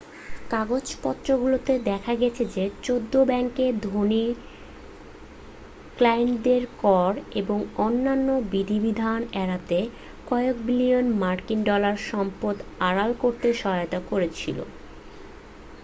কাগজপত্রগুলোতে দেখা গেছে যে চৌদ্দ ব্যাংকে ধনী ক্লায়েন্টদের কর এবং অন্যান্য বিধিবিধান এড়াতে কয়েক বিলিয়ন মার্কিন ডলার সম্পদ আড়াল করতে সহায়তা করেছিল